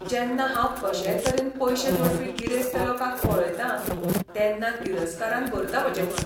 जेन्ना हांव कशेय तरेन पयशे जोडपी गिरेस्त लोकांक पळयतां तेन्ना तिरस्कारान भरता म्हजें मन.